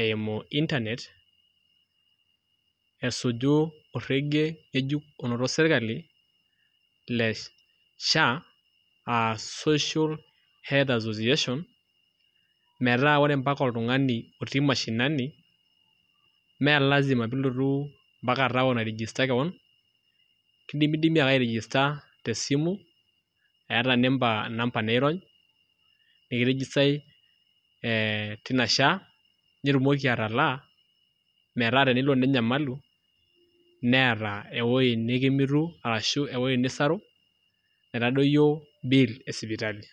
eimu internet oiterua serkali le sha na social health organisation metaa mpaka oltungani otii mashinani melasima pilotu mpaka taun ai regester kewon, indimidimi ake ai register tesimu eeta namaba niirony niki registae tina sha nitumoki atalaa metaa tenelo ninyamalu niata ewoi nikimitu ashu enisarunaito.